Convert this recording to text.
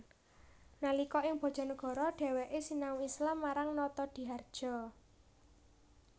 Nalika ing Bojonegoro dheweke sinau Islam marang Notodihardjo